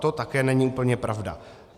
To také není úplně pravda.